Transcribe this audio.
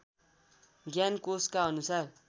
ज्ञान कोषका अनुसार